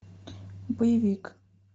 боевик